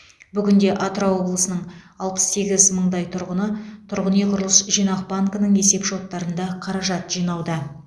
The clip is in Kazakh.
бүгінде атырау облысының алпыс сегіз мыңдай тұрғыны тұрғын үй құрылыс жинақ банкінің есеп шоттарында қаражат жинауда